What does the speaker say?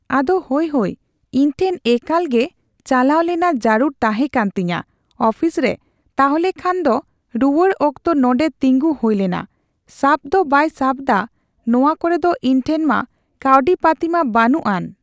ᱟᱫᱚ ᱦᱳᱭ ᱦᱳᱭ ᱤᱧ ᱴᱷᱮᱱ ᱮᱠᱞᱟᱜᱮ ᱪᱟᱞᱟᱣ ᱞᱮᱱᱟ ᱡᱟᱨᱩᱲ ᱛᱟᱦᱮᱸ ᱠᱟᱱ ᱛᱤᱧᱟ ᱹᱚᱯᱷᱤᱥᱨᱮ ᱛᱟᱦᱞᱮ ᱠᱷᱟᱱ ᱫᱚ ᱨᱩᱣᱟᱹᱲ ᱚᱠᱛᱚ ᱱᱚᱸᱰᱮ ᱛᱤᱸᱜᱩ ᱦᱩᱭ ᱞᱮᱱᱟ ᱥᱟᱵ ᱫᱚ ᱵᱟᱭ ᱥᱟᱵ ᱫᱟ ᱱᱚᱣᱟ ᱠᱚᱨᱮᱫ ᱤᱧ ᱴᱷᱮᱱ ᱢᱟ ᱠᱟᱣᱰᱤ ᱯᱟᱛᱤ ᱢᱟ ᱵᱟᱹᱱᱩᱜᱼᱟᱱ ᱾